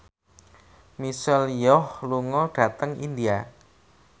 Michelle Yeoh lunga dhateng India